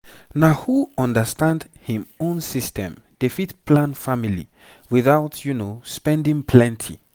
na who understand him own system dey fit plan family without spending plenty.